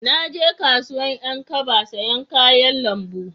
Na je kasuwan 'yan kaba sayan kayan lambu